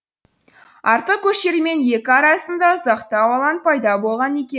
артқы көштермен екі арасында ұзақтау алаң пайда болған екен